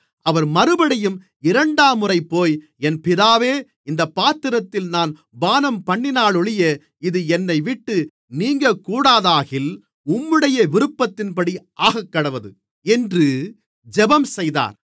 அவர் மறுபடியும் இரண்டாம்முறை போய் என் பிதாவே இந்தப் பாத்திரத்தில் நான் பானம்பண்ணினாலொழிய இது என்னைவிட்டு நீங்கக்கூடாதாகில் உம்முடைய விருப்பத்தின்படி ஆகக்கடவது என்று ஜெபம்செய்தார்